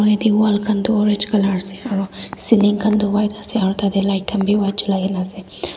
moi yaete wall khan tu orange colour ase aro ceiling khan toh white ase aro tatae light khan bi white cholai kaena ase.